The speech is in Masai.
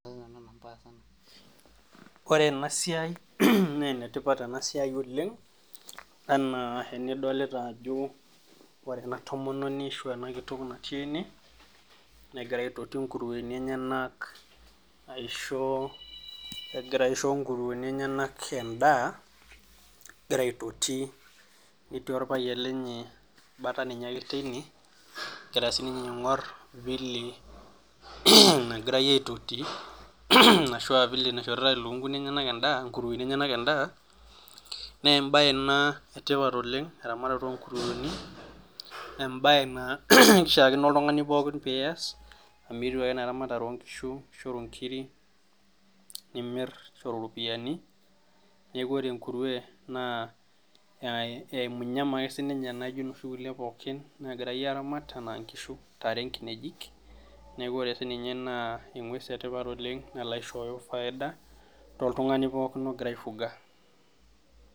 Ore ena siai naa enetipat ena siai oleng anaa enidolita ajo , ore ena tomononi ashu ena kitok natii ene , negira aitoti nkurueni enyenak aisho, egira aisho nkurueni enyenak endaa , egira aitoti netii orpayian lenye bata ninye ake teine egira sininye aingor vile nagirai aitoti ashua vile naishoritae lukunguni enyenak endaa, nkurueni enyenak endaa , nee embae ena etipat oleng, eramatare onkurueni , embae naa kishaakino ake oltungani pookin pias amu etiu ake enaa eramatare onkishu onkiri nimir toropiyiani , niaku ore enkurue naa e emunyama ake sininye naijo inoshi kulie pookin nagirai aramat , anaa nkishu , ntare, nkinejik , niaku ore sininye naa engwes etipat oleng nala aishooyo faida toltungani pookin ogira aifuga.